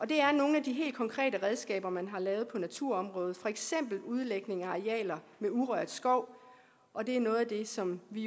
det er nogle af de helt konkrete redskaber man har lavet på naturområdet for eksempel udlægning af arealer med urørt skov og det er noget af det som vi